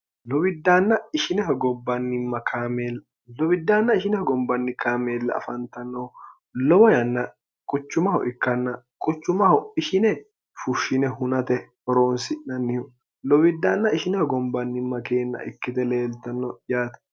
lowiddaanna ishineho gombanni kaameella afantannohu lowo yanna quchumaho ikkanna quchumaho ishine fushshine hunate horoonsi'nannihu lowiddaanna ishineho gombannimma keenna ikkite leeltanno yaate